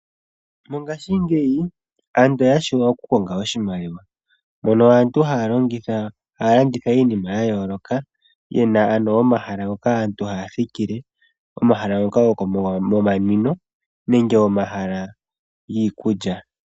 Mongashingeyi aantu oya tseya okumona iimaliwa, mono aantu haya landitha iinima yayooloka, yena omahala ngoka aantu haya thikile, yena omahala gomanwino nenge omahala giikulya.